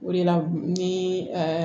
O de la ni